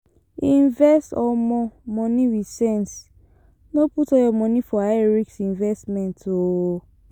Invest um money with sense, no put all your money for high risk investment um